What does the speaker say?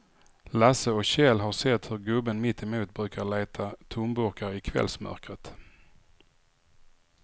Lasse och Kjell har sett hur gubben mittemot brukar leta tomburkar i kvällsmörkret.